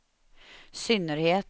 synnerhet